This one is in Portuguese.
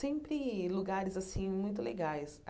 Sempre lugares assim muito legais.